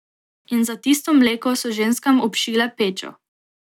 In za tisto mleko so ženskam obšile pečo.